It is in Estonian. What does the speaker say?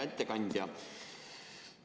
Hea ettekandja!